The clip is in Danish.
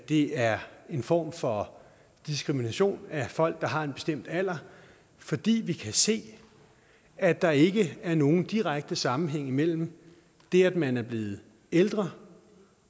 det er en form for diskrimination af folk der har en bestemt alder fordi vi kan se at der ikke er nogen direkte sammenhæng mellem det at man er blevet ældre